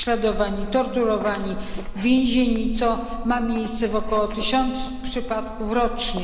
Są prześladowani, torturowani, więzieni, co ma miejsce w około tysiącu przypadków rocznie.